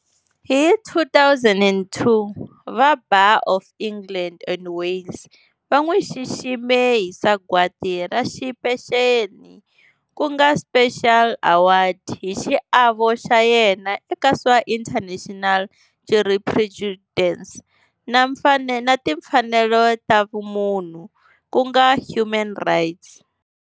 Hi 2002 va Bar of England and Wales va n'wi xixime hi sagwati ra xipeceli ku nga Special Award hi xiavo xa yena eka swa international jurisprudence na timfanelo ta vumunhu ku nga human rights.